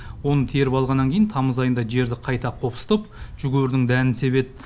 оны теріп алғаннан кейін тамыз айында жерді қайта қопсытып жүгерінің дәнін себеді